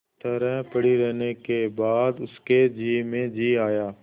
तरह पड़ी रहने के बाद उसके जी में जी आया